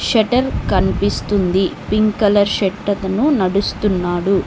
Shutter కన్పిపిస్తుంది pink colour shirt అతను నడుస్తున్నాడు.